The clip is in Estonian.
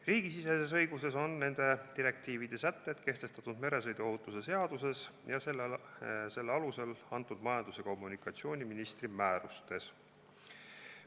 Riigisiseses õiguses on nende direktiivide sätted kehtestatud meresõiduohutuse seaduses ning selle alusel antud majandus- ja kommunikatsiooniministri määrustes.